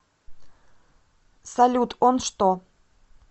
салют он что